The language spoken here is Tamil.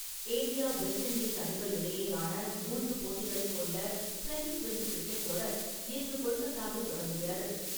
இந்தியா வெஸ்ட் இண்டீஸ் அணிகள் இடையேயான மூன்று போட்டிகளைக் கொண்ட ட்வெண்ட்டி ட்வெண்ட்டி கிரிக்கெட் தொடர் இன்று கொல்கத்தாவில் தொடங்குகிறது.